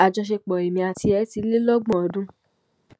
àjọṣepọ èmi àti ẹ ti lé lọgbọn ọdún